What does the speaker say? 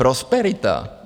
Prosperita?